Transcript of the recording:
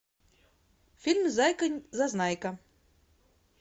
фильм зайка зазнайка